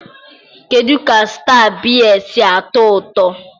kedu ka Star biya si atọ ụtọ?